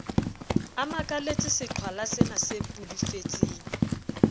a makaletse seqhwalasena se pudufetseng